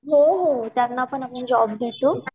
हो हो त्यांना पण आपण जॉब देतो